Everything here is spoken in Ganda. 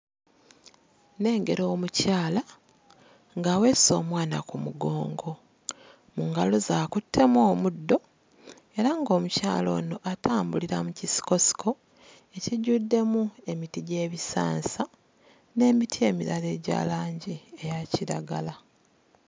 Nnengera omukyala ng'aweese omwana ku mugongo mu ngalo ze akuttemu omuddo era ng'omukyala ono atambulira mu kisikosiko ekijjuddemu emiti gy'ebisansa n'emiti emirala egya langi eya kiragala.